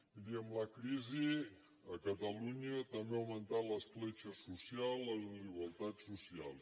miri amb la crisi a catalunya també han augmentat l’escletxa social les desigualtats socials